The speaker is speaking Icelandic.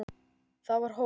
Það var hól.